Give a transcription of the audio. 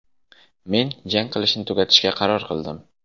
Men jang qilishni tugatishga qaror qildim.